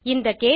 இந்த கேஸ்